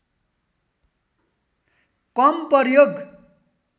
कम प्रयोग